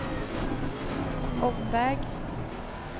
omväg